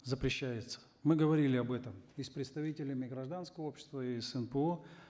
запрещается мы говорили об этом и с представителями гражданского общества и с нпо